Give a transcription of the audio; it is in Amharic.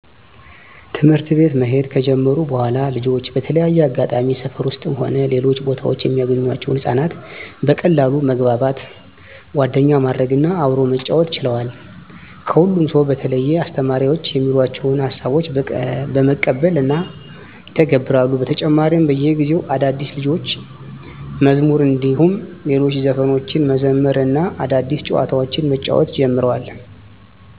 ትምህርት ቤት መሄድ ከጀመሩ በኃላልጆች በተለያየ አጋጣሚ ሰፈር ውስጥም ሆነ ሌሎች ቦታወች የሚያገኟቸውን ህፃናት በቀላሉ መግባባት፣ ጓደኛ ማድረግ እና አብሮ መጫወት ችለዋል። ከሁሉም ሰው በተለየ አስተማሪዎች የሚሏቸውን ሀሳቦች በመቀበል እና ይተገብራሉ። በተጨማሪም በየጊዜው አዳዲስ የልጆች መዝሙር እንዲሁም ሌሎች ዘፈኖችን መዘመር እና አዳዲስ ጨዋታዎችን መጫወት ጀምረዋል።